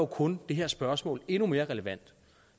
kun det her spørgsmål endnu mere relevant